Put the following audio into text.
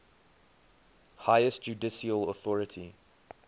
highest judicial authority